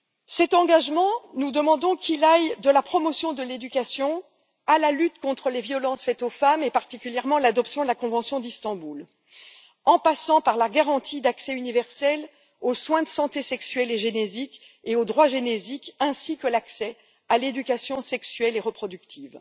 Cet engagement, nous demandons qu'il aille de la promotion de l'éducation à la lutte contre les violences faites aux femmes, et particulièrement à l'adoption de la Convention d'Istanbul, en passant par la garantie d'accès universel aux soins de santé sexuelle et génésique et aux droits génésiques, ainsi que par l'accès à l'éducation sexuelle et reproductive.